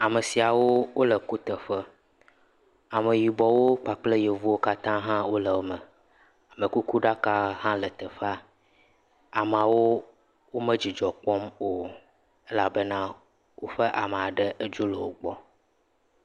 Ame siawo le kuteƒe ameyibɔwo kpakple yevuwo katã le eme amekukuɖaka ha le teƒea ameawo medzidzɔ kpɔm o elabena woƒe ame aɖe dzo le wogbɔ